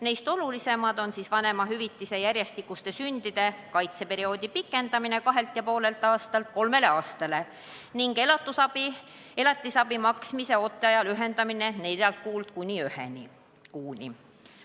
Neist olulisemad on vanemahüvitise järjestikuste sündide kaitseperioodi pikendamine kahelt ja poolelt aastalt kolmele aastale ning elatisabi maksmise ooteaja lühendamine neljalt kuult kuni ühe kuuni.